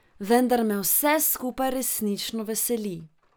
Vendar me vse skupaj resnično veseli.